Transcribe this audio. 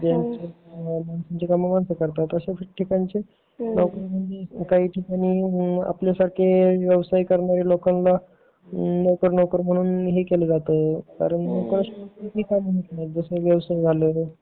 जे काम माणस करतात काही ठिकाणी आपल्या सारखे व्यवसाय करणाऱ्या लोकांना नोकर नोकर म्हणून हे केलं जात जसं व्यवसाय झाल